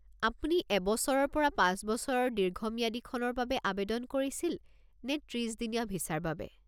আপুনি এবছৰৰ পৰা পাঁচবছৰৰ দীৰ্ঘম্যাদীখনৰ বাবে আৱেদন কৰিছিল নে ত্ৰিছ দিনীয়া ভিছাৰ বাবে?